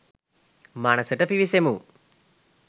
මනසට පිවිසෙමු